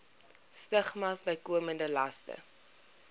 stigmas bykomende laste